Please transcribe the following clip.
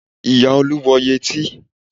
Ìyá Olú wọ yẹtí